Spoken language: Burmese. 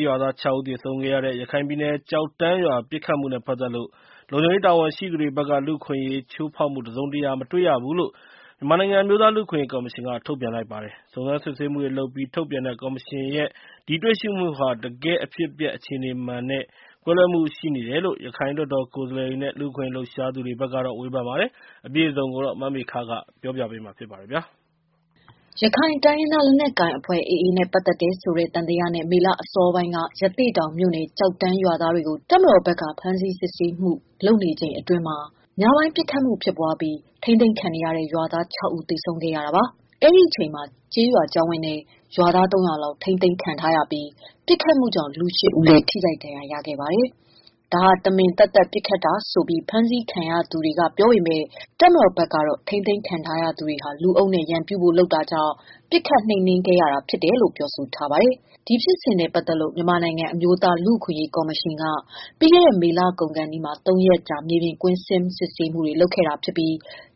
းရွာသား ၆ ဦး သေဆုံးခဲ့ရတဲ့ ရခိုင်ပြည်နယ်ကျောက်တန်းရွာ ပစ်ခတ်မှုနဲ့ပတ်သက်လို့ လုံခြုံရေးတာဝန်ရှိသူတွေဖက်က လူအခွင့်အရေးချိုးဖောက်မှုတစုံတရာ မတွေ့ရဘူးလို့ မြန်မာနိုင်ငံအမျိုးသားလူ့အခွင့်အရေးကော်မရှင်က ထုတ်ပြန်ပါတယ်။ စုံစမ်းစစ်ဆေးမှုတွေလုပ်ပြီး ထုတ်ပြန်တဲ့ ကော်မရှင်ရဲ့ ဒီတွေ့ရှိမှုဟာ တကယ့် အဖြစ်အပျက်အခြေအနေမှန်နဲ့ ကွဲလွဲမှုရှိနေတယ်လို့ ရခိုင်လွှတ်တော်ကိုယ်စားလှယ်တွေ့နဲ့ လူ့အခွင့်အရေးလှုပ်ရှားသူတွေဖက်က ဝေဖန်ပါတယ်။ မမေခ စုံစမ်းမေးမြန်းထားတာပါ။ ရခိုင်တိုင်းရင်းသား လက်နက်ကိုင်အဖွဲ့ AA နဲ့ ပတ်သက်တယ်ဆိုတဲ့ သံသယနဲ့ မေလ အစောပိုင်းက ရသေ့တောင်မြို့နယ် ကျောက်တန်းရွာ သားတွေကို တပ်မတော် ဘက်က ဖမ်းဆီး စစ်ဆေးမှုနေချိန်အတွင်းမှာ ညပိုင်း ပစ်ခတ်မှုဖြစ်ပြီး ထိန်းသိမ်းခံနေရတဲ့ ရွာသား ၆ ဦး သေဆုံးခဲ့တာပါ။ အဲဒီအချိန်မှာ ကျေးရွာကျောင်းဝန်းထဲ ရွာသား၃၀၀ လောက် ထိန်းသိမ်းခံထားရပြီး၊ ပစ်ခတ်မှုကြောင့် လူ ၈ ဦးလည်း ထိခိုက်ဒဏ်ရရခဲ့ပါတယ်။ ဒါဟာ တမင်သက်သက်ပစ်ခတ်တာဆိုပြီး ဖမ်းဆီးခံရသူတွေက ပြောပေမယ့်၊ တပ်မတော်ဖက်ကတော့ ထိန်းသိမ်းခံထားရသူတွေဟာ လူအုပ်နဲ့ ရန်ပြုဖို့လုပ်တာကြောင့် ပစ်ခတ်နှိမ်နင်းရတာလို့ ပြောထားပါတယ်။ ဒီဖြစ်စဉ်နဲ့ပတ်သတ်လို့ မြန်မာနိုင်ငံ အမျိုးသားလူ့အခွင့်အရေး ကော်မရှင်က ပြီးခဲ့တဲ့ မေလကုန်ခါနီး မှာ ၃ရက်ကြာ မြေပြင်ကွင်း ဆင်းစစ်ဆေးမှု တွေ လုပ်ခဲ့တာဖြစ်ပြီး